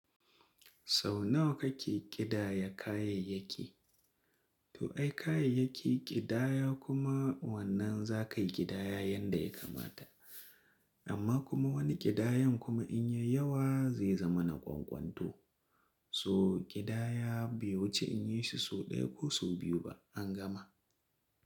Sau nawa kake ƙidaya kayayyaki? To ai kayayyaki ƙidaya kuma wannan za ka yi ƙidaya yanda ya kamata. Amma kuma wani ƙidayan kuma in ya yi yawa zai zama na ƙwaƙwanto. To ƙidaya bai wuce in yayi shi sau ɗaya ko sau biyu ba an gama.